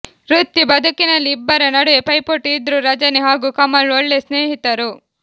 ವೃತ್ತಿ ಬದುಕಿನಲ್ಲಿ ಇಬ್ಬರ ನಡುವೆ ಪೈಪೋಟಿ ಇದ್ರೂ ರಜನಿ ಹಾಗೂ ಕಮಲ್ ಒಳ್ಳೆ ಸ್ನೇಹಿತರು